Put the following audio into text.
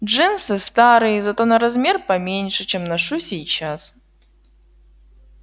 джинсы старые зато на размер поменьше чем ношу сейчас